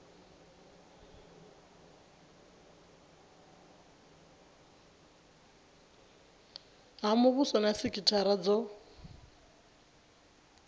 ha muvhuso na sikithara dzo